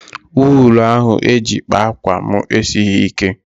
Wuulu ahụ eji kpaa ákwà m esighị ike.